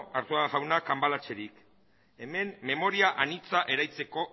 arzuaga jauna cambalacherik hemen memoria anitza